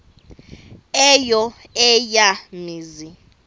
eyo eya mizi